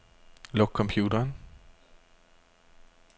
Luk computeren.